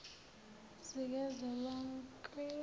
zikazwelonke